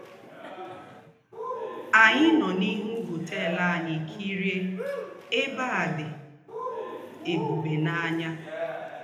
Ànyì nọ́ n’íhú họ́tèl ànyì kírie ébè à dị́ ébùbè n’ànyà.